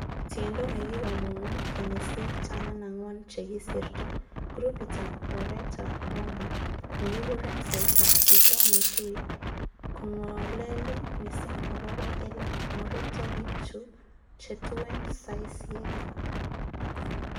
Tiendo nekikimongu kenyisiek taman angwan che kisirto, grupitab oretab Boomba, nekikuren 'Saitab chito netui',kongolelin missing agobo ele moribto bik che tuen saisiek.